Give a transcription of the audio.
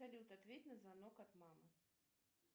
салют ответь на звонок от мамы